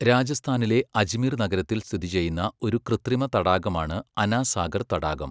രാജസ്ഥാനിലെ അജ്മീർ നഗരത്തിൽ സ്ഥിതിചെയ്യുന്ന ഒരു കൃത്രിമ തടാകമാണ് അന സാഗർ തടാകം.